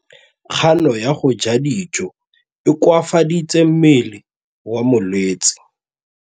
Kganô ya go ja dijo e koafaditse mmele wa molwetse.